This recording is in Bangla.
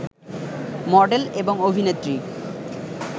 মডেল, এবং অভিনেত্রী